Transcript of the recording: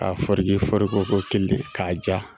a foreke forokoko kelen k'a ja.